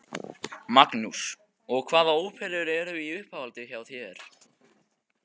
Magnús: Og hvaða óperur eru í uppáhaldi hjá þér?